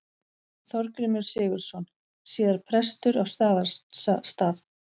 Þorgrímur Sigurðsson, síðar prestur á Staðarstað.